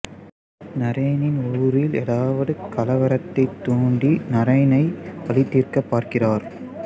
நரேனின் ஊரில் ஏதாவது கலவரத்தை தூண்டி நரேனை பழிதீர்க்க பார்க்கிறார்